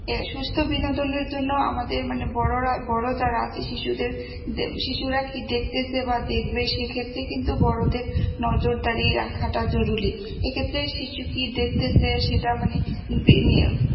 সুস্থ বিনোদনের জন্য আমাদের মানে বড়রা বড় যারা আছে শিশুদের শিশুরা কি দেখতেসে বা দেখবে সেক্ষেত্রে কিন্তু বড়দের নজরদারি রাখাটা জরুরি এক্ষেত্রে শিশু কি দেখতেসে সেটা মানে ~